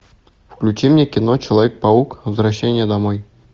включи мне кино человек паук возвращение домой